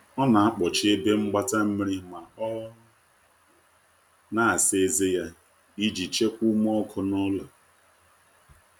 ọ na akpochi ebe mgbata mmiri ma ọ na asa eze ya, ijii chekwaa ume ọkụ n'ulo